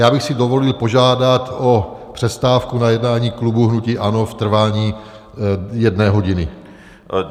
Já bych si dovolil požádat o přestávku na jednání klubu hnutí ANO v trvání jedné hodiny.